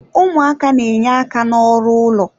Ụmụaka na-enye aka n'ọrụ ụlọ.